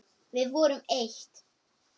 Við vorum eitt.